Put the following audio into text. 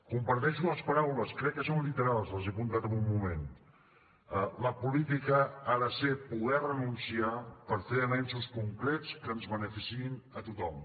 comparteixo les paraules crec que són literals les he apuntat en un moment la política ha de ser poder renunciar per fer avenços concrets que ens beneficiïn a tothom